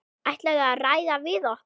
Ætlarðu að ræða við okkur?